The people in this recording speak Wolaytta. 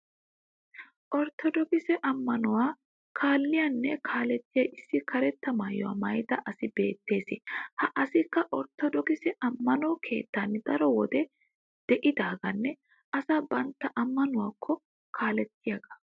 Orttodookise ammanuwa kalliyaanne kaalettiya issi karetta maayuwa maayida asi beettes. Ha asikka orttodookise ammano keettan daro wode de'iyagaanne asaa bantta ammanuwaakko kaalettiyaagaa.